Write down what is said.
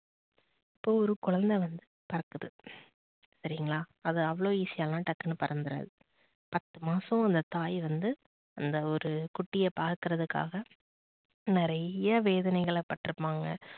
இப்போ ஒரு குழந்தை வந்து பிறக்குது சரிங்களா அது அவ்ளோ easy யா எல்லாம் டக்குனு பறந்துறாது. பத்து மாசம் அந்த தாய் வந்து அந்த ஒரு குட்டிய பாக்குறதுக்காக நிறைய வேதனைகள் பட்டிருப்பாங்க